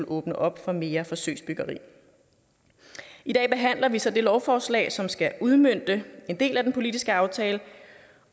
åbne op for mere forsøgsbyggeri i dag behandler vi så det lovforslag som skal udmønte en del af den politiske aftale